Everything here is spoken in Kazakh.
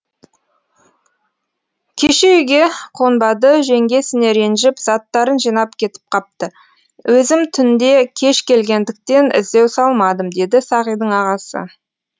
кеше үйге қонбады жеңгесіне ренжіп заттарын жинап кетіп қапты өзім түнде кеш келгендіктен іздеу салмадым деді сағидің ағасы